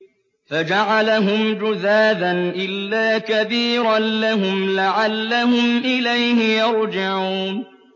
فَجَعَلَهُمْ جُذَاذًا إِلَّا كَبِيرًا لَّهُمْ لَعَلَّهُمْ إِلَيْهِ يَرْجِعُونَ